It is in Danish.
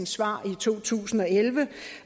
svar i to tusind og elleve